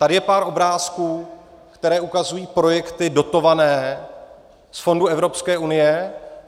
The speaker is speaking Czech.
Tady je pár obrázků , které ukazují projekty dotované z fondů Evropské unie.